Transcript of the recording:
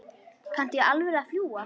Kanntu í alvöru að fljúga?